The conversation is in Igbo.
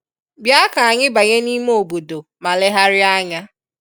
Bịa ka anyị banye n'ime obodo ma legharịa anya